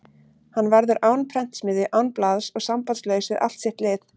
Hann verður án prentsmiðju, án blaðs og sambandslaus við allt sitt lið.